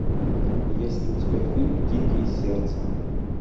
есть ли у тебя фильм дикие сердцем